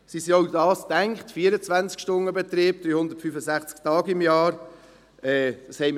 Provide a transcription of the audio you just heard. Sie sind für den 24-Stunden-Betrieb, 365 Tage im Jahr gedacht.